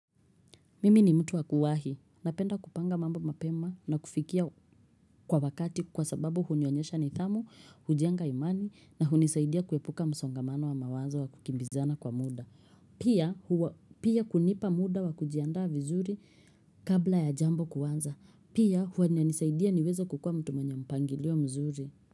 Mimi ni mtu wakuwahi. Napenda kupanga mambo mapema na kufikia kwa wakati kwa sababu hunionyesha nidhamu, hujenga imani na hunisaidia kuepuka msongamano wa mawazo wa kukimbizana kwa muda. Pia kunipa muda wa kujiandaa vizuri kabla ya jambo kuanza. Pia huwa inanisaidia niweza kukua mtu mwenye mpangilio mzuri.